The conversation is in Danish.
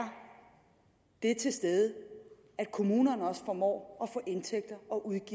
det til stede at kommunerne også formår